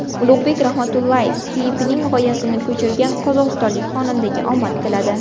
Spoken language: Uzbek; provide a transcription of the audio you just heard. Ulug‘bek Rahmatullayev klipining g‘oyasini ko‘chirgan qozog‘istonlik xonandaga omad tiladi.